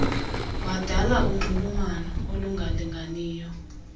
wadala unxulumano olungalinganiyo